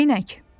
Neyneyk?